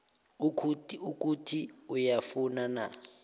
ukuthi uyafuna na